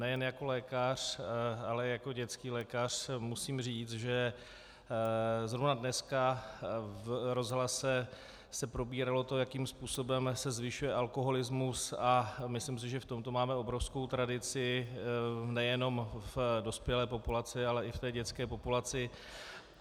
Nejen jako lékař, ale jako dětský lékař musím říct, že zrovna dneska v rozhlase se probíralo to, jakým způsobem se zvyšuje alkoholismus, a myslím si, že v tomto máme obrovskou tradici nejenom v dospělé populaci, ale i v té dětské populaci.